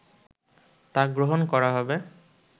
তা গ্রহণ করা হবে